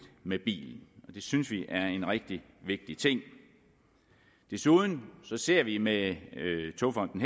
med bilen og det synes vi er en rigtig vigtig ting desuden ser vi med togfonden